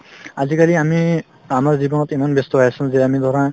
আজিকালি আমি আমাৰ জীৱনত ইমান ব্যস্ত হৈ আছো যে আমি ধৰা